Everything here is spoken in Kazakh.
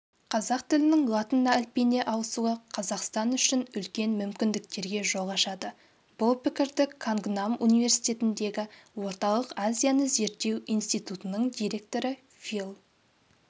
қазақ тілінің латын әліпбиіне ауысы қазақстан үшін үлкен мүмкіндіктерге жол ашады бұл пікірді кангнам университетіндегі орталық азияны зерттеу институтының директоры фил